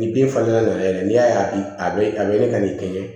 Ni bin fana nana yɛrɛ n'i y'a ye a bɛ a bɛ a bɛ ka nin kɛɲɛ